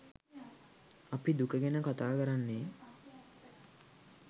අපි දුක ගැන කතාකරන්නේ